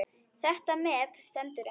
Það met stendur enn.